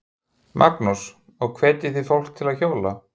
Magnús: Og hvetjið þið fólk til að hjóla?